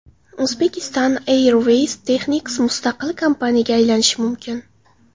Uzbekistan Airways Technics mustaqil kompaniyaga aylanishi mumkin.